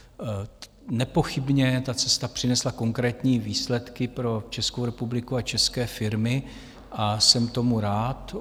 Nepochybně ta cesta přinesla konkrétní výsledky pro Českou republiku a české firmy a jsem tomu rád.